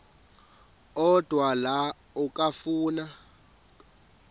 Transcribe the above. odwa la okafuna